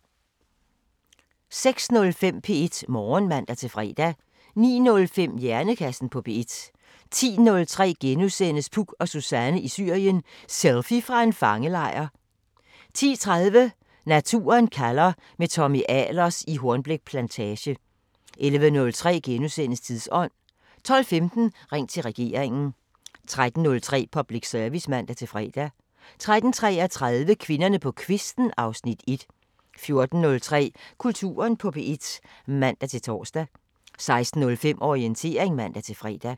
06:05: P1 Morgen (man-fre) 09:05: Hjernekassen på P1 10:03: Puk og Suzanne i Syrien: Selfie fra en fangelejr * 10:30: Naturen kalder – med Tommy Ahlers i Hornbæk Plantage 11:03: Tidsånd * 12:15: Ring til regeringen 13:03: Public Service (man-fre) 13:33: Kvinderne på kvisten (Afs. 1) 14:03: Kulturen på P1 (man-tor) 16:05: Orientering (man-fre)